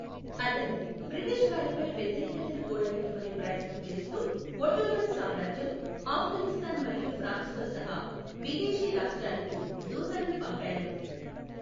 అతను, బ్రిటిష్ వారిపై వ్యతిరేకతను కూడగట్టుకునే ప్రయత్నం చేస్తూ, ఒట్టోమన్ సామ్రాజ్యం, ఆఫ్ఘనిస్తాన్ మరియు ఫ్రాన్స్తో సహా విదేశీ రాష్ట్రాలకు దూతలను పంపాడు.